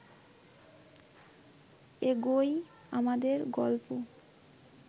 এগোয় আমাদের গল্প